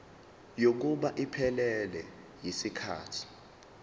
kokuba iphelele yisikhathi